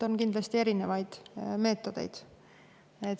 On kindlasti erinevaid meetodeid.